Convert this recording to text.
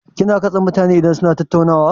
Kina katse mutane idan suna tattaunawa?